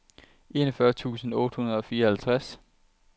enogfyrre tusind otte hundrede og fireoghalvtreds